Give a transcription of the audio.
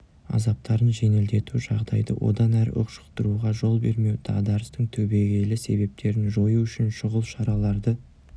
азаптарын жеңілдету жағдайды одан әрі ушықтыруға жол бермеу дағдарыстың түбегейлі себептерін жою үшін шұғыл шараларды